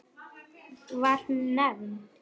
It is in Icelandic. Var hún nefnd